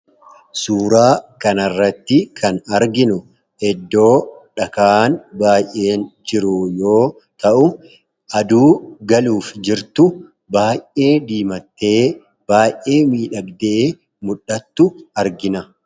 Suuraa kanarratti kan arginu eddoo dhakaan baay'een jiru yoo ta'u aduu galuuf jirtu baay'ee diimattee baay'ee miidhagdee muldhattu argina.